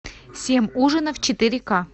семь ужинов четыре ка